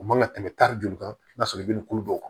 O man ka tɛmɛ tari joli kan sɔrɔ i bɛ nin kulo dɔw kan